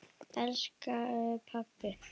Elsku pabbi!